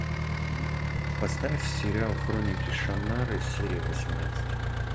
поставь сериал хроники шаннары серия восемнадцать